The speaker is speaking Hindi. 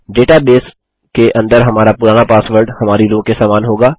डेटा बेस के अंदर हमारा पुराना पासवर्ड हमारी रो के समान होगा